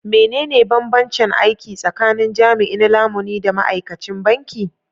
Menene bambancen aiki tsakanin jami'in lamuni da ma'aikacin banki?